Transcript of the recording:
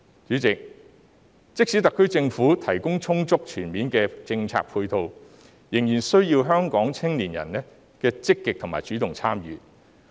主席，即使特區政府提供充足全面的政策配套，仍然需要香港的青年人積極和主動參與。